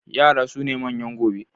Yara suna manyan gobe